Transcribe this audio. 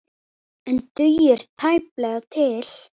En dugir tæplega til.